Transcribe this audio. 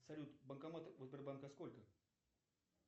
салют банкоматов у сбербанка сколько